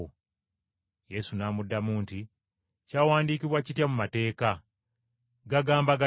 Yesu n’amuddamu nti, “Kyawandiikibwa kitya mu mateeka? Gagamba gatya?”